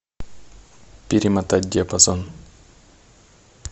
перемотать диапазон